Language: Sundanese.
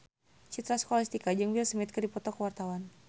Citra Scholastika jeung Will Smith keur dipoto ku wartawan